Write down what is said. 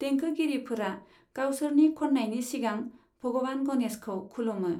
देंखोगिरिफोरा गावसोरनि खन्नायनि सिगां भगवान गणेशखौ खुलुमो।